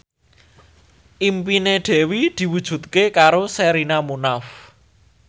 impine Dewi diwujudke karo Sherina Munaf